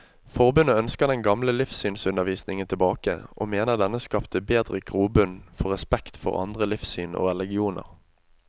Forbundet ønsker den gamle livssynsundervisningen tilbake, og mener denne skapte bedre grobunn for respekt for andre livssyn og religioner.